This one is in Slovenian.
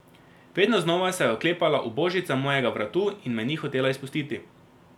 Vedno znova se je oklepala ubožica mojega vratu in me ni hotela izpustiti.